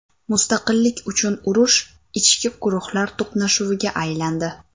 Mustaqillik uchun urush ichki guruhlar to‘qnashuviga aylandi.